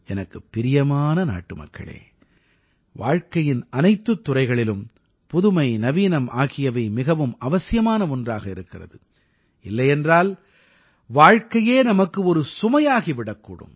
எனக்குப் பிரியமான நாட்டுமக்களே வாழ்க்கையின் அனைத்துத் துறைகளிலும் புதுமை நவீனம் ஆகியவை மிகவும் அவசியமான ஒன்றாக இருக்கிறது இல்லையென்றால் வாழ்க்கையே நமக்கு ஒரு சுமையாகி விடக்கூடும்